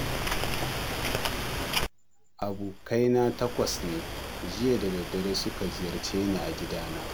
Abokaina takwas ne jiya da daddare suka ziyarce ni a gidana